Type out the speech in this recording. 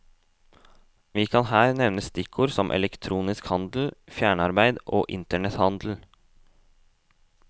Vi kan her nevne stikkord som elektronisk handel, fjernarbeid og internethandel.